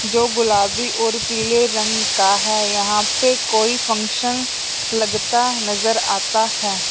जो गुलाबी और पीले रंग का है यहां पे कोई फंक्शन लगता है नजर आता है।